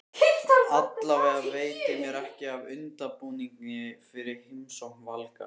Allavega veitir mér ekki af undirbúningi fyrir heimsókn Valgarðs.